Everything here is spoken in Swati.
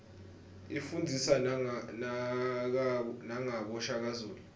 ifundzisa nagabo shaka zulu